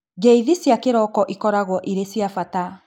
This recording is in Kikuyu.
Ngeithi cia kĩroko ikororagwo irĩ cia bata